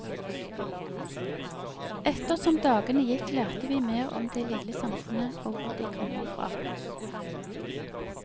Ettersom dagene gikk lærte vi mer om det lille samfunnet og hvor de kommer fra.